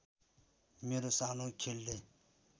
मेरो सानो खेलले